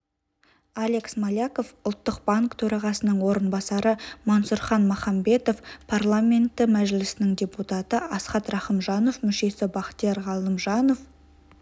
олег смоляков ұлттық банк төрағасының орынбасары мансұрхан махамбетов парламенті мәжілісінің депутаты асхат рахымжанов мүшесі бақтияр галимжанов